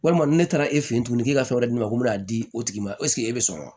Walima ni ne taara e fɛ yen tuguni k'e ka fɛn wɛrɛ di ne ma n bɛ n'a di o tigi ma e bɛ sɔn wa